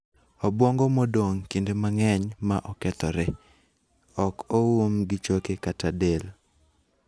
Obwongo modong kinde mang'eny ma okethore (ok oum gi choke kata del).